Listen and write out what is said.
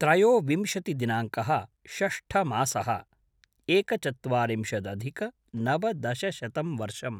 त्रयोविंशतिदिनाङ्कः - षष्ठमासः - एकचत्वारिंशदधिक-नवदशशतं वर्षम्